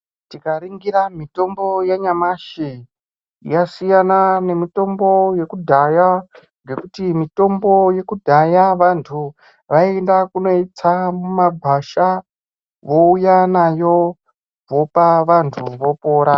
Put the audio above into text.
Tikaningira mitombo yanyamashi yasina nemitombo yekudhaya ngekuti mitombo yekudhaya vantu vaienda kunoitsa mumagwasha vouya nayo vopa vantu vopora.